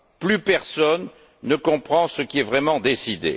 Plus personne ne comprend ce qui est vraiment décidé.